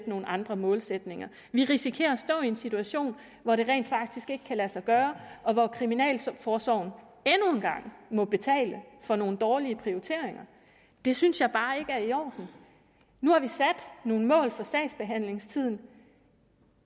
nogle andre målsætninger vi risikerer at stå i en situation hvor det rent faktisk ikke kan lade sig gøre og hvor kriminalforsorgen endnu en gang må betale for nogle dårlige prioriteringer det synes jeg bare ikke er i orden nu har vi sat nogle mål for sagsbehandlingstiden